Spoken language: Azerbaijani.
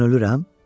Mən ölürəm?